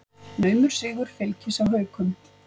Naumur sigur Fylkis á Haukum